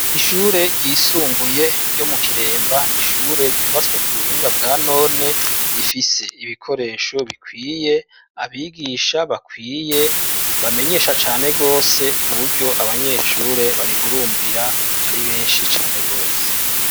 Ishure ryisumbuye ryo mu Kiremba nishure ryubatswe ku buhinga bwa none rifise ibikoresho bikwiye abigisha bakwiye bamenyesha cane rwose kuburyo abanyeshure barihurumbira ari benshi cane rwose.